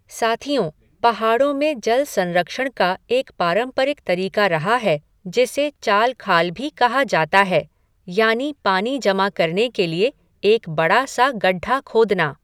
साथियों, पहाड़ों में जल संरक्षण का एक पारंपरिक तरीका रहा है जिसे चालखाल भी कहा जाता है, यानि पानी जमा करने के लिए एक बड़ा सा गड्ढा खोदना।